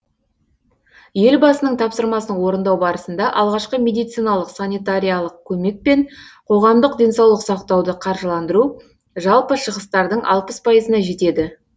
елбасының тапсырмасын орындау барысында алғашқы медициналық санитариялық көмек пен қоғамдық денсаулық сақтауды қаржыландыру жалпы шығыстардың алпыс пайызына жетеді